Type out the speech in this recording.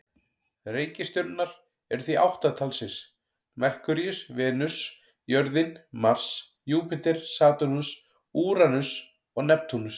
Reikistjörnurnar eru því átta talsins: Merkúríus, Venus, jörðin, Mars, Júpíter, Satúrnus, Úranus og Neptúnus.